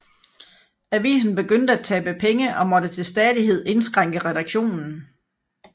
Avisen begyndte at tabe penge og måtte til stadighed indskrænke redaktionen